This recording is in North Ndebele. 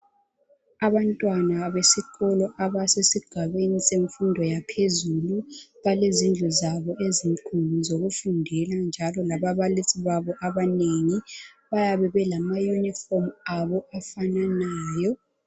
Abantwana besikolo abesesigabeni semfundo yaphezulu balezindlu zabo ezinkulu zokufundela njalo lababalisi babo abanengi bayabe belamayinifomu abo afananayo.